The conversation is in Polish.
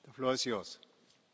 Panie Przewodniczący!